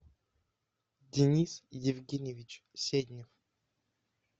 денис евгеньевич седнев